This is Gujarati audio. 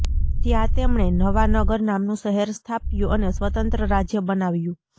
ત્યાં તેમણે નવાનગર નામનું શહેર સ્થાપ્યું અને સ્વતંત્ર રાજ્ય બનાવ્યું